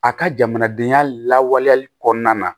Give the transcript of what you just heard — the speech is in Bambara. A ka jamanadenya lawaleyali kɔnɔna na